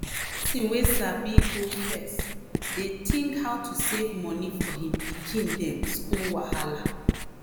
di person wey sabi go first dey think how to save moni for him pikin dem school wahala.